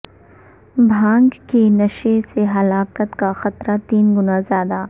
بھنگ کے نشے سے ہلاکت کا خطرہ تین گنا زیادہ